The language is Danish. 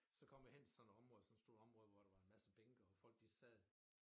Så kom jeg hen til sådan et område sådan et stort område hvor der var en masse bænke og folk de sad